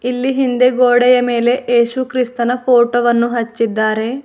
ಇಲ್ಲಿ ಹಿಂದೆ ಗೋಡೆಯ ಮೇಲೆ ಏಸು ಕ್ರಿಸ್ತನ ಫೋಟೋ ವನ್ನು ಹಚ್ಚಿದ್ದಾರೆ.